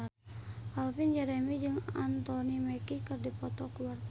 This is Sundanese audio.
Calvin Jeremy jeung Anthony Mackie keur dipoto ku wartawan